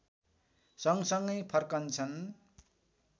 सँगसँगै फर्कन्छन्